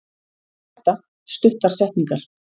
Þetta: Stuttar setningar.